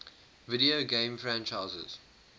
video game franchises